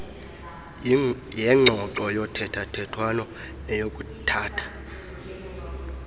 yengxoxo yothethathethwano neyokuthatha